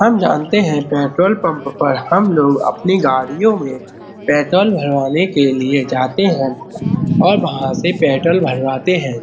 हम जानते हैं पेट्रोल पंप पर हम लोग अपनी गाड़ियों में पेट्रोल भरवाने के लिए जाते हैं और वहाँ से पेट्रोल भरवाते हैं।